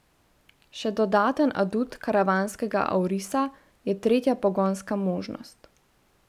Še dodaten adut karavanskega aurisa je tretja pogonska možnost.